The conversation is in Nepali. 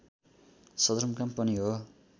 सदरमुकाम पनि हो